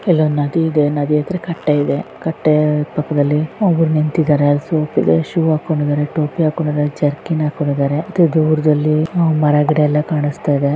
ಇಲ್ಲೊಂದು ನದಿ ಇದೆ ನದಿ ಹತ್ರ ಕಟ್ಟೆ ಇದೆ ಪಕ್ಕದಲ್ಲಿ ಒಬ್ಬರು ನಿಂತಿದ್ದಾರೆ ಶು ಕೊಂಡಿದ್ದಾರೆ ಟೋಪಿ ಹಾಕ್ಕೊಂಡಿದ್ದಾರೆ ಜರ್ಕಿನ್ ಹಾಕ್ಕೊಂಡಿದ್ದಾರೆ ದೂರದಲ್ಲಿ ಗಿಡಮರಗಳೆಲ್ಲಾ ಕಾಣುತ್ತಿದ್ದಾವೆ .